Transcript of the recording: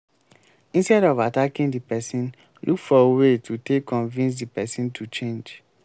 instead of attacking di person look for way to take convince di person to change